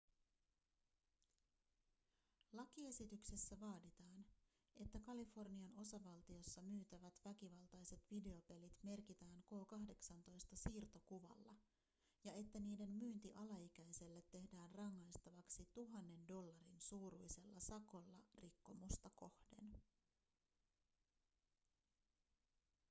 lakiesityksessä vaaditaan että kalifornian osavaltiossa myytävät väkivaltaiset videopelit merkitään k18-siirtokuvalla ja että niiden myynti alaikäiselle tehdään rangaistavaksi 1 000 dollarin suuruisella sakolla rikkomusta kohden